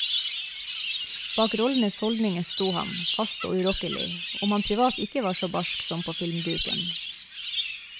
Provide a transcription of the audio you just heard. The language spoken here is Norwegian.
Bak rollenes holdninger sto han, fast og urokkelig, om han privat ikke var så barsk som på filmduken.